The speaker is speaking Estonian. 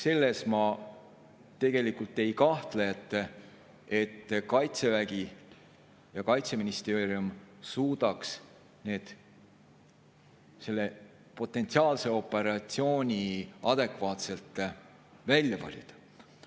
Selles ma ei kahtle, et Kaitsevägi ja Kaitseministeerium suudaks selle potentsiaalse operatsiooni adekvaatselt välja valida.